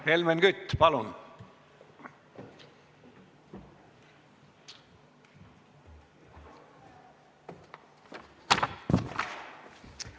Helmen Kütt, palun!